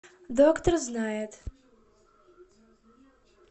доктор знает